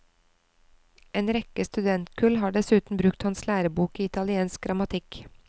En rekke studentkull har dessuten brukt hans lærebok i italiensk grammatikk.